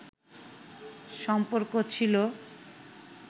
সম্পর্ক ছিল